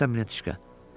bilirsən Mityaşka?